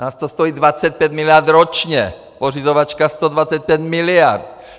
Nás to stojí 25 miliard ročně, pořizovačka 125 miliard.